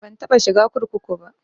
Ban taɓa shiga kurkuku ba